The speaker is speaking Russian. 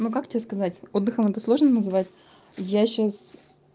ну как тебе сказать отдыхом это сложно назвать я сейчас